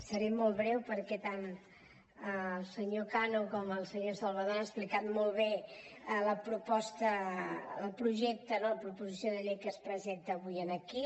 seré molt breu perquè tant el senyor cano com el senyor salvadó han explicat molt bé la proposta el projecte no la proposició de llei que es presenta avui aquí